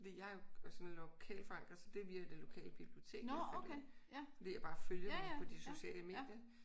Fordi jeg er jo sådan lokalforankret så det er via det lokale bibliotek jeg fandt det. Fordi jeg bare følger dem på de sociale medier